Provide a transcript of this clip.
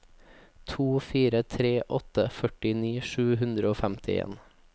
to fire tre åtte førtini sju hundre og femtien